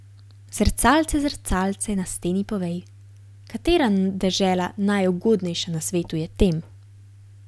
Zrcalce, zrcalce na steni, povej, katera dežela najugodnejša na svetu je tem?